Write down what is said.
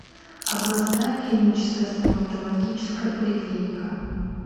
областная клиническая стоматологическая поликлиника